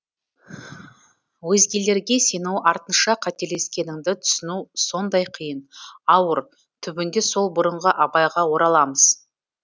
өзгелерге сену артынша қателескеніңді түсіну сондай қиын ауыр түбінде сол бұрынғы абайға ораламыз